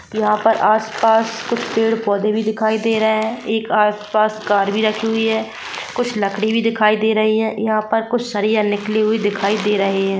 यहाँ पर आस-पास कुछ पेड़-पौधे भी दिखाई दे रहे है एक आस-पास कार भी रखी हुई है कुछ लकड़ी भी दिखाई दे रही है यहाँ पर कुछ सरिया निकली हुई दिखाई दे रही है।